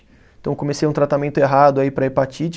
Então, comecei um tratamento errado aí para hepatite.